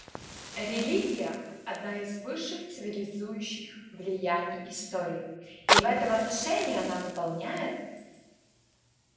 религия одно из высших цивилизующих влияний истории и в этом отношении она выполняет